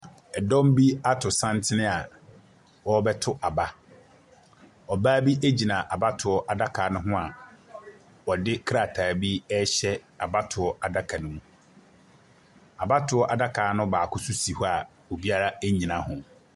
Ɛdɔm bi ato santene a wɔrebɛto aba. Ɔbaa bi gyina adaka no ho a ɔde krataa bi rehyɛ abatoɔ adaka no mu. Abatoɔ adaka no baakop nso si hɔ a obira nnyina ho.